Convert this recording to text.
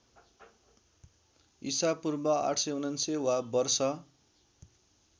ईपू ८९९ वा वर्ष